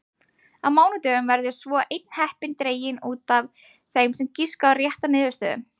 Á mánudögum verður svo einn heppinn dreginn út af þeim sem giskaði á rétta niðurstöðu.